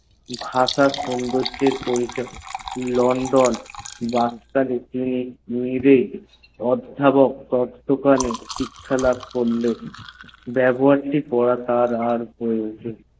ভাষা সচেতন । london অধপক তত্তাবধানে পড়লেন বেবহার টি তার আর প্রয়োজন না